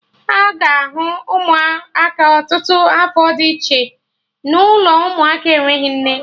Aga ahụ Ụmụaka ọtụtụ afọ dị iche n'ụlọ ụmụaka enweghị nne